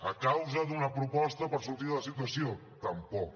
a causa d’una proposta per sortir de la situació tampoc